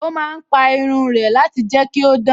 Ó má ń pa irun rẹ̀ láti jẹ́ kí ó dán